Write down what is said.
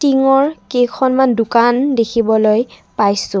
টিংৰ কেইখনমান দোকান দেখিবলৈ পাইছোঁ।